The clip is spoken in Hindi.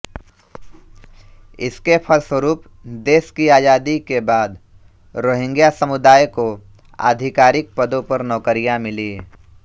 इसके फलस्वरूप देश की आजादी के बाद रोहिंग्या समुदाय को आधिकारिक पदों पर नौकरियां मिली